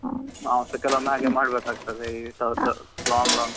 ನಾವ್ಸಾ ಕೆಲವೊಮ್ಮೆ ಹಾಗೆ ಮಾಡಬೇಕಾಗ್ತಾದೆ ಈ ತರದ್ದು long long .